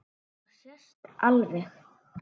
Það sést alveg.